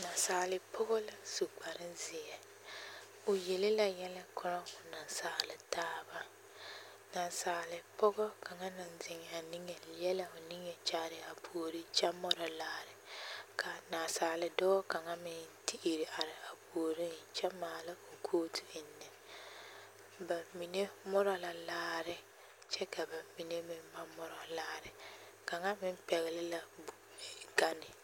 Nasaale pɔgɔ la su kpare zeɛ, o yele la yɛlɛ korɔ o nasaale taaba, nasaale pɔgɔ kaŋa naŋ zeŋaa niŋe leɛ la o niŋe kyaare a puori kyɛ morɔ laare k'a naasaale dɔɔ kaŋa meŋ te iri are a puoriŋ kyɛ maala o kooti ennɛ, bamine morɔ la laare kyɛ ka bamine meŋ ba morɔ laare kaŋa meŋ pɛgele la gane.